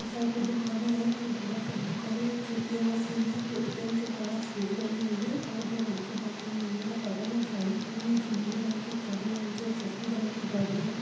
इस साइड पे दुकाने है जो बहोत सारी दुकाने हैं एक ए_टी_एम मशीन है जो ए_टी_एम के बहार सीढ़ी बनी हुई है और दो लड़के बैठे हुए हैं बगल में गाड़ी खड़ी है जो नीले रंगकी और काले रंग की हुए शफेद रंग की गाडी हैं।